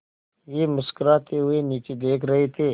वे मुस्कराते हुए नीचे देख रहे थे